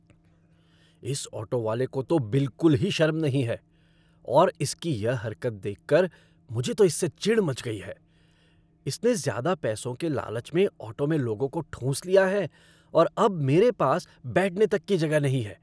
इस ऑटो वाले को तो बिलकुल ही शर्म नहीं है और इसकी यह हरकत देखकर मुझे तो इससे चिढ़ मच गई है, इसने ज़्यादा पैसों के लालच में ऑटो में लोगों को ठूंस लिया है और अब मेरे पास बैठने तक की जगह नहीं है।